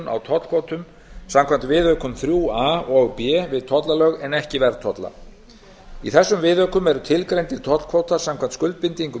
á tollkvótum samkvæmt viðaukum iiia og b við tollalög en ekki verðtolla í þessum viðaukum eru tilgreindir tollkvótar samkvæmt skuldbindingum